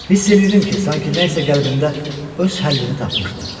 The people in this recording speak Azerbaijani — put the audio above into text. Hiss eləyirdim ki, sanki nəsə qəlbimdə öz həllini tapmışdı.